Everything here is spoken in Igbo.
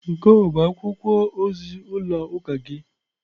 Nke a ọ bụ akwụkwọ ozi ụlọ ụka gị?